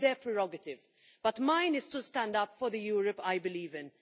That is their prerogative, but mine is to stand up for the Europe I believe in.